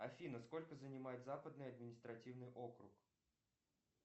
афина сколько занимает западный административный округ